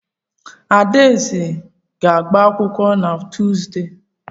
Adaeze a ga-agba akwụkwọ na Tuuzdee?